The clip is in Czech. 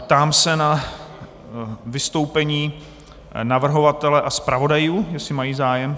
Ptám se na vystoupení navrhovatele a zpravodajů, jestli mají zájem.